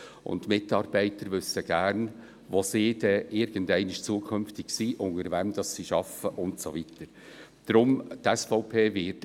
Die Mitarbeiter wissen gerne, wo sie irgendwann zukünftig sein werden, unter wem sie arbeiten werden und so weiter.